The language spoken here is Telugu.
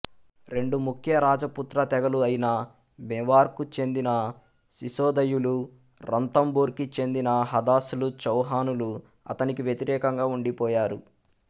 రెండు ముఖ్య రాజపుత్ర తెగలు అయిన మేవార్కు చెందిన సిశోధయులు రంతంబోర్కి చెందిన హదాస్లు చౌహానులు అతనికి వ్యతిరేకంగా ఉండిపోయారు